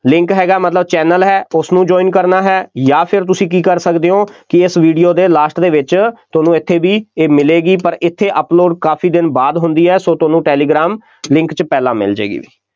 link ਹੈਗਾ ਮਤਲਬ channel ਹੈ, ਉਸਨੂੰ join ਕਰਨਾ ਹੈ ਜਾਂ ਫਿਰ ਤੁਸੀਂ ਕੀ ਕਰ ਸਕਦੇ ਹੋ ਕਿ ਇਸ ਵੀਡੀਓ ਦੇ last ਦੇ ਵਿੱਚ ਤੁਹਾਨੂੰ ਇੱਥੇ ਵੀ ਇਹ ਮਿਲੇਗੀ, ਪਰ ਇੱਥੇ upload ਕਾਫੀ ਦਿਨ ਬਾਅਦ ਹੁੰਦੀ ਹੈ, ਸੋ ਤੁਹਾਨੂੰ ਟੈਲੀਗ੍ਰਾਮ link 'ਚ ਪਹਿਲਾਂ ਮਿਲ ਜਾਏਗੀ ਬਈ।